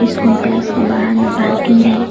इस कॉम्प्लेक्स के बाहर में पार्किंग है।